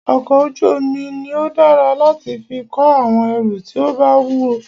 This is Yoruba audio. ọkọ̀ ojú omi ní o dára láti fí kó àwọn ẹrù tí o bá wúwo.